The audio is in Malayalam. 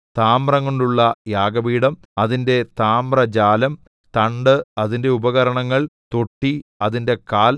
താമ്രംകൊണ്ടുള്ള യാഗപീഠം അതിന്റെ താമ്രജാലം തണ്ട് അതിന്റെ ഉപകരണങ്ങൾ തൊട്ടി അതിന്റെ കാൽ